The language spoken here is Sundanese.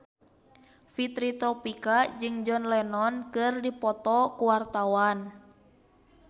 Fitri Tropika jeung John Lennon keur dipoto ku wartawan